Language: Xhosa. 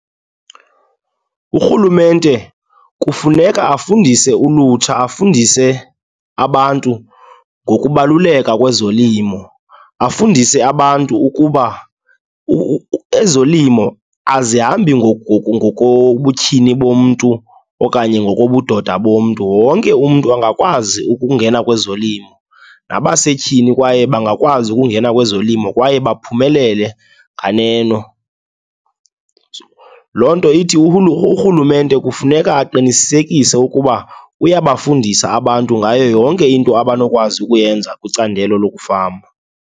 Urhulumente kufuneka afundise ulutsha, afundise abantu ngokubaluleka kwezolimo. Afundise abantu ukuba ezolimo azihambi ngokobutyhini bomntu okanye ngokobudoda bomntu. Wonke umntu angakwazi ukungena kwezolimo, nabasetyhini kwaye bangakwazi ukungena kwezolimo kwaye baphumelele nganeno. Loo nto ithi urhulumente kufuneka aqinisekise ukuba uyabafundisa abantu ngayo yonke into abanokwazi ukuyenza kwicandelo lokufama.